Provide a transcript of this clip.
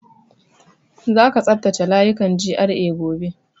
Za ka tsaftace layukan GRA gobe!